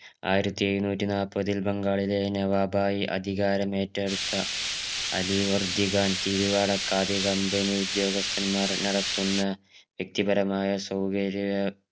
ആയിരത്തി എഴുന്നൂറ്റി നാൽപ്പതിൽ ബംഗാളിലെ നവാബായി അധികാരമേറ്റെടുത്ത അലിവർദ്ധി ഖാൻ തിടുവടക്കാതെ company ഉദ്യോഗസ്ഥന്മാർ നടത്തുന്ന വ്യക്തിപരമായ സൗകര്യ